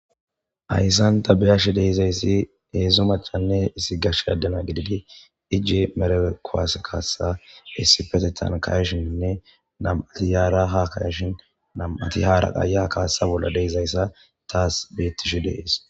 Hayssan dabiyashi deezayssi heedzo machanne issi gashshe addena gididi iji merekwaas kaassa issipetetan kayashinnne nam7ati yaara ha kayashin namati haaraqaya kaaesa bolla deezayssa taas beettishi dees